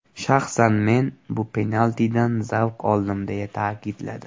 Shaxsan men bu penaltidan zavq oldim”, ― deya ta’kidladi.